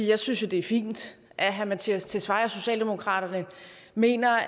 jeg synes det er fint at herre mattias tesfaye og socialdemokraterne mener